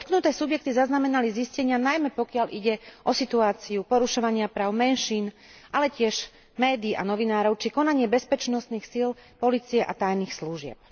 Dotknuté subjekty zaznamenali zistenia, najmä pokiaľ ide o situáciu porušovania práv menšín, ale tiež médií a novinárov, či konanie bezpečnostných síl, polície a tajných služieb.